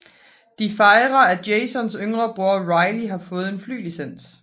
De fejre at Jasons yngre bror Riley har fået et fly licens